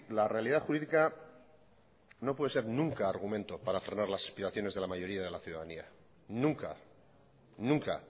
la realidad jurídica no puede ser nunca argumento para frenar las aspiraciones de la mayoría de la ciudadanía nunca nunca